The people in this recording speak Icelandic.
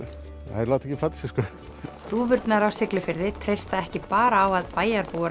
þær láta ekki plata sig dúfurnar á Siglufirði treysta ekki bara á að bæjarbúar